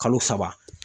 Kalo saba